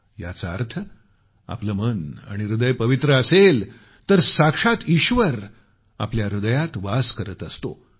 याचा अर्थ आपलं मन आणि हृदय पवित्र असेल तर साक्षात ईश्वर आपल्या हृदयात वास करत असतो